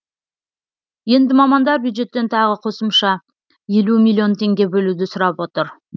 енді мамандар бюджеттен тағы қосымша елу миллион теңге бөлуді сұрап отыр